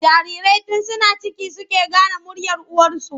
Jarirai tun suna ciki suke gane muryar uwarsu.